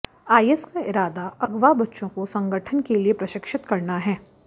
IS का इरादा अगवा बच्चों को संगठन के लिए प्रशिक्षित करना है